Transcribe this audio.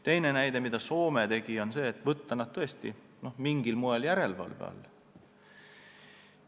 Teine näide: Soome tegi seda, et võttis nad mingil moel järelevalve alla.